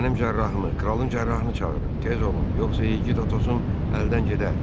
Mənim cərrahımı, kralın cərrahını çağırın, tez olun, yoxsa igid Atosun əldən gedər.